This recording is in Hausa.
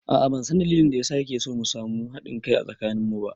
A'a ban san dalilin da ya sa kike so mu samu haɗin kai a tsakanin mu ba